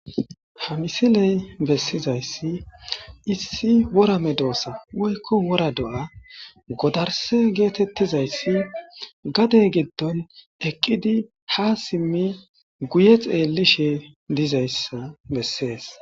ha misiley bessizayssi issi worame doossa woykko wora do7a godarse geetettizayssi gadey giddon eqqidi ha simmi guye xeellishe dizayssa bessees